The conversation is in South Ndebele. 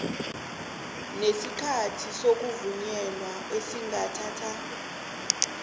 nesikhathi sokuvunyelwa esingathatha